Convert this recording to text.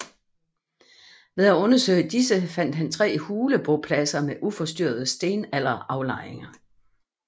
Ved at undersøge disse fandt han tre hulebopladser med uforstyrrede stenalderaflejringer